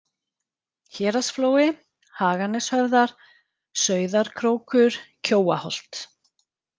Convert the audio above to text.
Héraðsflói, Haganeshöfðar, Sauðarkrókur, Kjóaholt